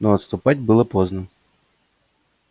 но отступать было поздно